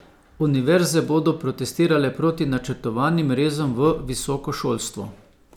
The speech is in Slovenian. Univerze bodo protestirale proti načrtovanim rezom v visoko šolstvo.